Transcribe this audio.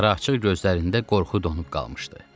Yarı açıq gözlərində qorxu donub qalmışdı.